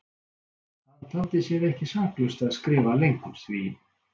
Hann taldi sér ekki saklaust að skrifa lengur því